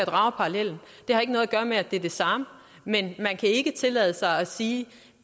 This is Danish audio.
parallellen det har ikke noget at gøre med at det er det samme men man kan ikke tillade sig at sige